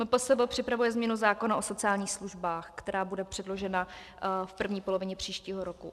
MPSV připravuje změnu zákona o sociálních službách, která bude předložena v první polovině příštího roku.